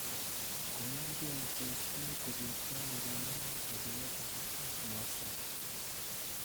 Koyenga Josephine kogeertooi ng'oliondono kabileet age ak Mwaseba